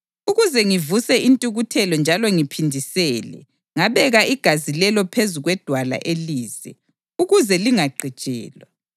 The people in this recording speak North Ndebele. Ukuze ngivuse intukuthelo njalo ngiphindisele, ngabeka igazi lelo phezu kwedwala elize, ukuze lingagqitshelwa.